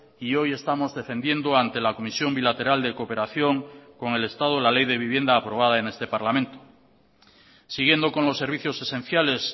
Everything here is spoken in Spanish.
y hoy estamos defendiendo ante la comisión bilateral de cooperación con el estado la ley de vivienda aprobada en este parlamento siguiendo con los servicios esenciales